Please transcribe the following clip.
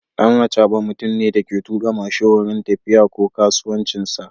Dan acaba mutumne Dake tuka mashin wurin tafiya ko kasuwancinsa